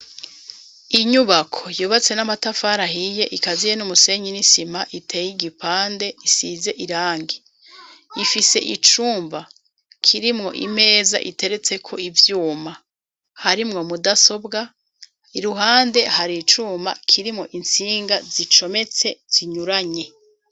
Inyubako yubatse n'amatafari ahiye ikaziye n'umusenyi n'isima itey'igipande isize irangi, ifise icumba kirimwo imeza iteretseko ivyuma harimwo mudasobwa , iruhande har'icuma kirimwo intsinga zicometse zinyuranye